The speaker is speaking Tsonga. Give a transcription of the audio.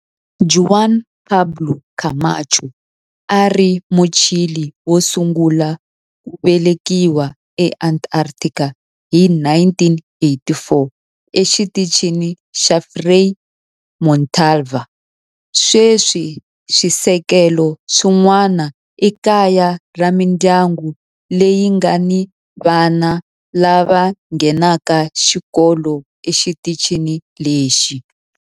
Juan Pablo Camacho a a ri Muchile wo sungula ku velekiwa eAntarctica hi 1984 eXitichini xa Frei Montalva. Sweswi swisekelo swin'wana i kaya ra mindyangu leyi nga ni vana lava nghenaka xikolo exitichini lexi.